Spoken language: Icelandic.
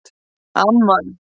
Amman